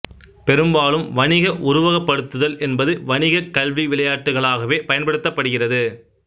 பெறும்பாலும் வணிக உருவகப்படுத்துதல் என்பது வணிகக் கல்வி விளையாட்டுகளாகவே பயன்படுத்தப்படுகிறது